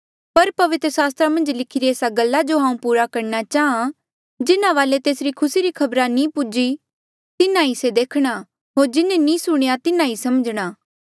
पर पवित्र सास्त्रा मन्झ लिखिरी एस्सा गल्ला जो हांऊँ पूरा करणा चांहां जिन्हा वाले तेसरी खुसी री खबरा नी पूजी तिन्हा ई से देखणा होर जिन्हें नी सुणेया तिन्हा ई समझणा